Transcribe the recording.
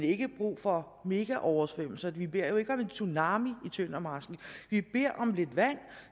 ikke brug for mega oversvømmelser vi beder jo ikke om en tsunami i tøndermarsken vi beder om lidt vand